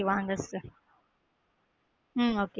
வாங்க sister உம் okay வாங்க